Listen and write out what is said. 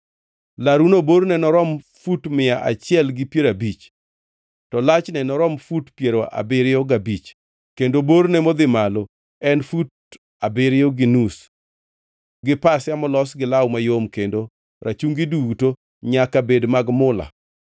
Laruno borne norom fut mia achiel gi piero abich, to lachne norom fut piero abiriyo gabich kendo borne modhi malo en fut abiriyo gi nus gi pasia molos gi law mayom kendo rachungi duto nyaka bed mag mula.